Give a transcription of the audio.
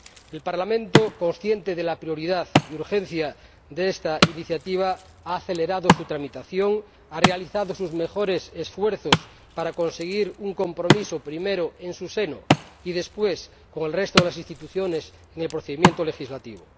El Parlamento, consciente de la prioridad y urgencia de esta iniciativa, ha acelerado su tramitación, ha realizado sus mejores esfuerzos para conseguir un compromiso, primero en su seno y después con el resto de las instituciones en el procedimiento legislativo.